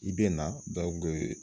I bɛ na